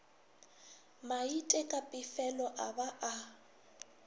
maite ka pefelo a ba